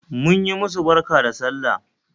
Mun yi musu barka da sallah